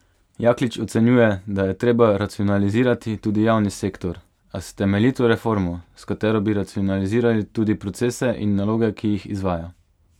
Jaklič ocenjuje, da je treba racionalizirati tudi javni sektor, a s temeljito reformo, s katero bi racionalizirali tudi procese in naloge, ki jih izvaja.